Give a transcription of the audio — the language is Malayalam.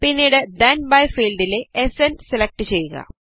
പിന്നീട് തെൻ ബി ഫീൽഡിലെ സ്ന് സെലക്ട് ചെയ്യുക